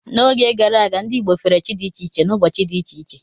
N'oge gara aga, ndị Igbo fere chi dị iche iche n'ụbọchị dị iche iche.